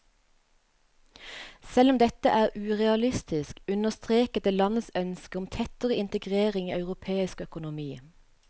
Selv om dette er urealistisk, understreket det landets ønske om tettere integrering i europeisk økonomi.